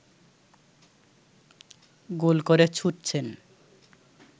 গোল করে ছুটছেন